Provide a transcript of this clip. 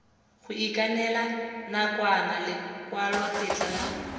go ikanela nakwana lekwalotetla la